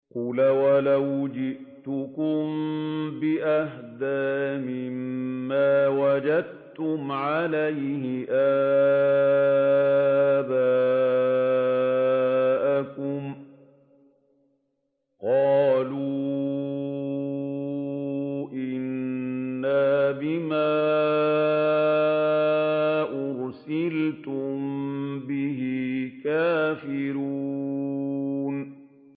۞ قَالَ أَوَلَوْ جِئْتُكُم بِأَهْدَىٰ مِمَّا وَجَدتُّمْ عَلَيْهِ آبَاءَكُمْ ۖ قَالُوا إِنَّا بِمَا أُرْسِلْتُم بِهِ كَافِرُونَ